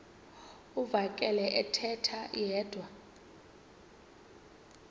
uvakele ethetha yedwa